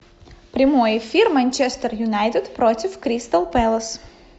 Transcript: прямой эфир манчестер юнайтед против кристал пэлас